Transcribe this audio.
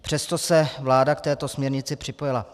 Přesto se vláda k této směrnici připojila.